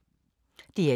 DR1